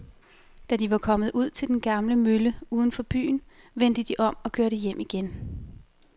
Da de var kommet ud til den gamle mølle uden for byen, vendte de om og kørte hjem igen.